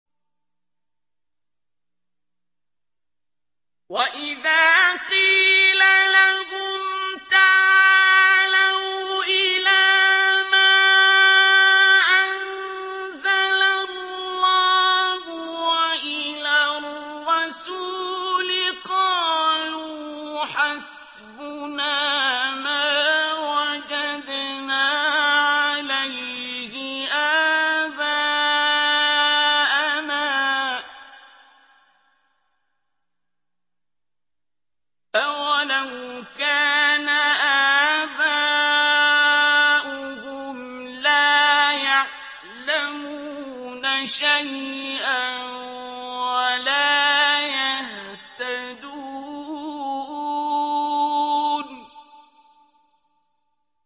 وَإِذَا قِيلَ لَهُمْ تَعَالَوْا إِلَىٰ مَا أَنزَلَ اللَّهُ وَإِلَى الرَّسُولِ قَالُوا حَسْبُنَا مَا وَجَدْنَا عَلَيْهِ آبَاءَنَا ۚ أَوَلَوْ كَانَ آبَاؤُهُمْ لَا يَعْلَمُونَ شَيْئًا وَلَا يَهْتَدُونَ